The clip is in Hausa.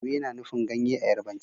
Ewe na nufin ganye a Yarbanci